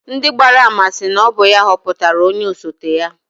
Ndị gbara ama sị na ọ bụ ya họpụtara onye osote ya.